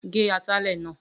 Ge atalẹ̀ náà!